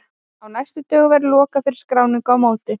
Á næstu dögum verður lokað fyrir skráningu á mótið.